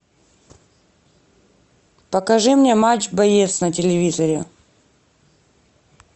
покажи мне матч боец на телевизоре